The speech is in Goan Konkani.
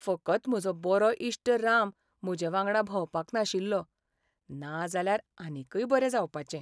फकत म्हजो बरो इश्ट राम म्हजेवांगडा भोंवपाक नाशिल्लो, नाजाल्यार आनीकय बरें जावपाचें.